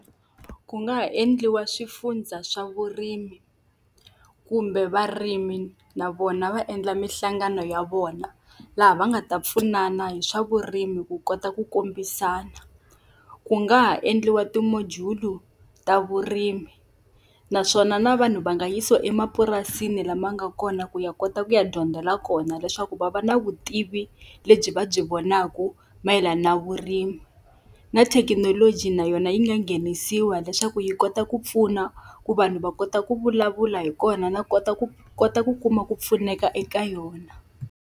Ku nga ha endliwa swifundza swa vurimi, kumbe varimi na vona va endla minhlangano ya vona, laha va nga ta pfunana hi swa vurimi ku kota ku kombisana. Ku nga ha endliwa ti-module-u ta vurimi naswona na vanhu va nga yisiwa emapurasini lama nga kona ku ya kota ku ya dyondzela kona leswaku va va na vutivi lebyi va byi vonaku mayelana na vurimi. Na thekinoloji na yona yi nga nghenisiwa leswaku yi kota ku pfuna ku vanhu va kota ku vulavula hi kona na kota ku kota ku kuma ku pfuneka eka yona.